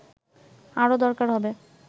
আরও দরকার হবে